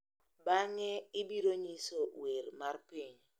bang’e ibiro nyiso wer mar piny,